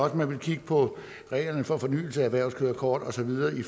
at man vil kigge på reglerne for fornyelse af erhvervskørekort og så videre i